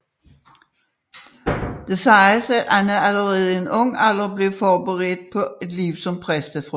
Det siges at Anna allerede i ung alder blev forberedt på et liv som præstefrue